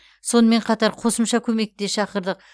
сонымен қатар қосымша көмекті де шақырдық